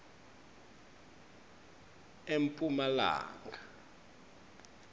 emphumalanga